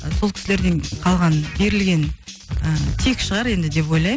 сол кісілерден қалған берілген ыыы тек шығар енді деп ойлаймын